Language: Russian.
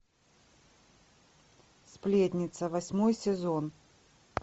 сплетница восьмой сезон